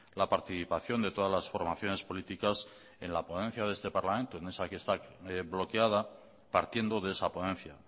la participación de todas las formaciones políticas en la ponencia de este parlamento en esa que está bloqueada partiendo de esa ponencia